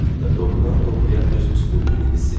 Və doğrudan-doğruya öz üstünlüyünü hiss eləyirdi.